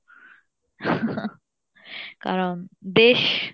কারন দেশ